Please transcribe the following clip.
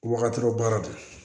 Wagati baara tɛ